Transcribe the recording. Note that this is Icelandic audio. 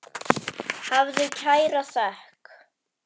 Hafðu kæra þökk.